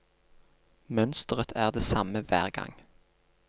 Mønsteret er det samme hver gang.